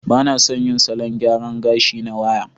Ba na son yin salon gyara gashi na waya.